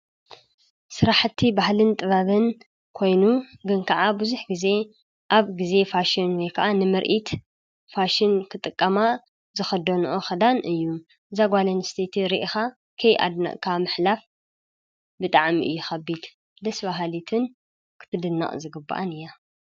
ሥራሕቲ ባህልን ጥበብን ኮይኑ ግን ከዓ ብዙኅ ጊዜ ኣብ ጊዜ ፋሽን ወይ ከዓ ንምርኢት ፋሽን ክጥቀማ ዝኸዶኖዑ ኽዳን እዩ ዛጓሌን ስቲይቲ ርኢኻ ከይ ኣድነቕካ ምሕላፍ ብጥዕሚ እዩኸቢት ደስቢሃሊትን ክትድናቕ ዝግብኣን እያ::